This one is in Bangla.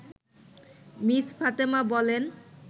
মিস ফাতেমা বলেন